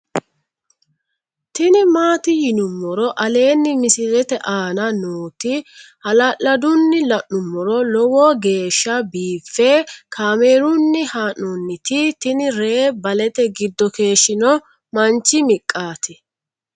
tini maati yinummoro aleenni misilete aana nooti hala'ladunni la'nummoro lowo geeshsha biiffe kaamerunni haa'nooniti tini ree balete giddo keeshshino manchi miqaati